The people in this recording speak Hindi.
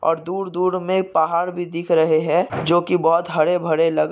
और दूर दूर में पहाड भी दिख रहे है जो की बहुत हरे भरे लग--